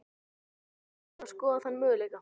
Ertu tilbúin að skoða þann möguleika?